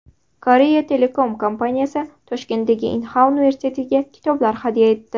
Korea Telecom kompaniyasi Toshkentdagi Inha universitetiga kitoblar hadya etdi.